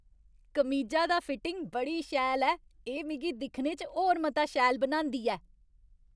कमीजा दा फिटिङ बड़ी शैल ऐ। एह् मिगी दिक्खने च होर मता शैल बनांदी ऐ।